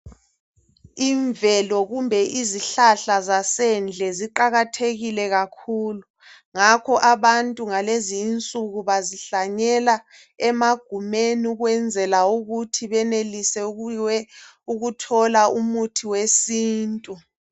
imvelo kumbe izihlahla zasendle ziqakathekile kakhulu ngakho abantu ngalezi insuku bazihlanyela emagumeni ukwenzela ukuthi benelise ukuthola umuthi wesintu